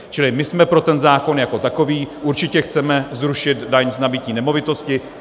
Čili my jsme pro ten zákon jako takový, určitě chceme zrušit daň z nabytí nemovitosti.